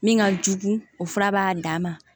Min ka jugu o fura b'a dama